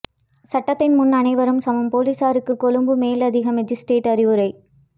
சட்டத்தின் முன் அனைவரும் சமம் பொலிசாருக்கு கொழும்பு மேலதிக மாஜிஸ்திரேட் அறிவுரை